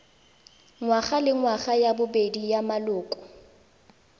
ngwagalengwaga ya bobedi ya maloko